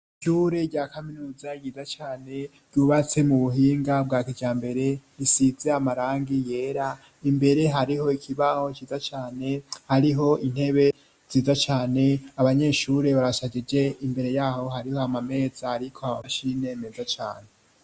Ishure rya kaminuza ryiza cane ryubatse mu buhinga bwa kiryambere risitse amarangi yera imbere hariho ikibaho ciza cane hariho intebe nziza cane abanyeshure barasajije imbere yaho hariho amameza ariko amamashine meza cane.